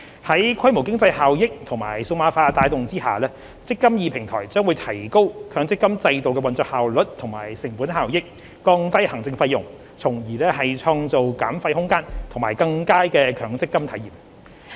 在規模經濟效益和數碼化的帶動下，"積金易"平台將提高強積金制度的運作效率和成本效益，降低行政費用，從而創造減費空間及更佳的強積金體驗。